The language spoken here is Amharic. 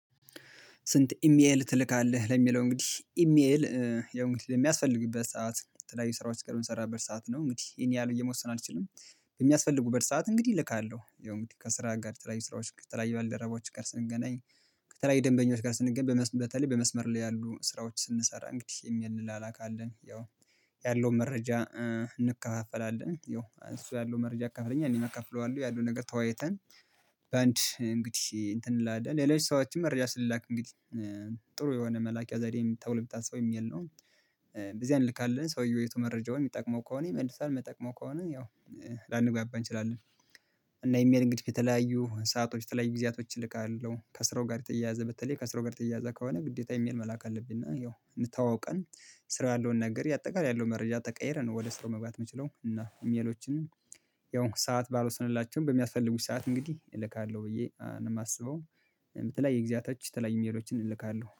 ስንት? ኢሜል ትልካለህ ለሚለው እንግዲህ ኢሜል ለሚያስፈልግበት ሰዓት ላይ የተለያዩ ስራዎች በምሰራበት ሰዓት ነው እንግዲህ ይሄን ያህል ብዬ መወሰን አልችልም። የሚያስፈልጉበት ሰዓት እንግዲህ እልካለሁ የው እንግዲ ከስራ ጋር ተለያይ ስራዎች ተለያይ ከተለያዩ ባለደረቦዎች ጋር ስንገናኝ። ከተለያዩ ደንበኞች ጋር ስንገናኝ በተለይ በመስመር ላይ ያሉ ስራዎች ስንሰራ እንግዲህ ኤሜል እንላላካለን ያው ያለውን መረጃ እንከፋፈላለን ያው እሱ ያለውን መረጃ ያካፍለኛለ እኔም አካፍለዋለው ያለው ነገር ተወያይተን። በአንድ እንግዲህ እንትን ላይ እንላለን ሌሎችም ሰዎችም መረጃ ስላክ እንግዲህ ጥሩ የሆነ መላኪያ ዛዴም ተብል የምታስበው ኢሜል ነው። በዚያ አንልካለን ሰውየው አይቶ መረጃውን የሚጠቅመው ከሆነ ይመልሳል የመይጠቅመው ከሆነ ያው ላንግባባ እንችላለን። እና ኢሜል እንግዲህ የተለያዩ ሰአቶች የተለያዩ ጊዜያቶች እልካለሁ ከስራው ጋር የተያያዘ በተለይ ከስራው ጋር ተያያዘ ከሆነ ግዴታ ኢሜል መላክ አለብን እና ያው ተዋዉቀን ስራ ያለውን ነገር አጠቃላይ ያለውን መረጃ ተቀያይረን ነው። ወደ ስራው መግባት የምንችለው እና ኢሜሎችን ያው ሰዓት ባልወሰንላቸው በሚያስፈልጉኝ ሰዓት እንግዲህ እልካለሁ ብዬ ነው የማስበው። በተለይ ግዚያአቶች የተለያዩ ኢሜሎችን እልካለሁ